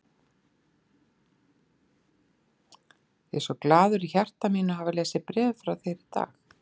Ég er svo glaður í hjarta mínu að hafa lesið bréfin frá þér í dag.